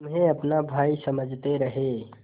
तुम्हें अपना भाई समझते रहे